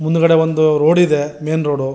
ಮುಂದುಗಡೆ ಒಂದು ರೋಡ್ ಇದೆ ಮೇನ್ ರೋಡು --